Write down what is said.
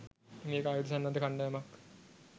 මේක ආයුධ සන්නද්ධ කණ්ඩායමක්.